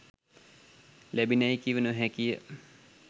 ලැබිණැයි කිව නො හැකි ය